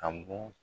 A bɔ